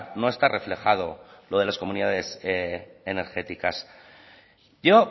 no está reflejado lo de las comunidades energéticas yo